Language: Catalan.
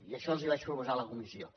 i això els ho vaig proposar a la comissió